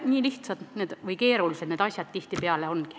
Nii lihtsad või keerulised need asjad tihtipeale ongi.